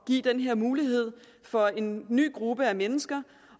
give den her mulighed for en ny gruppe mennesker